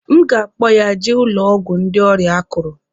M ga-akpọ ya jee ụlọ ọgwụ ndị ọrịa akuru.